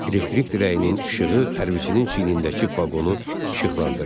Elektrik dirəyinin işığı hərbiçinin çiynindəki baqonu işıqlandırdı.